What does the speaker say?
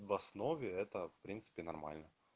в основе это в принципе нормально